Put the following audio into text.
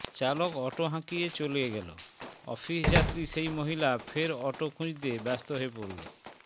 চালক অটো হাঁকিয়ে চলে গেল অফিস যাত্রী সেই মহিলা ফের অটো খঁুজতে ব্যস্ত হয়ে পড়লো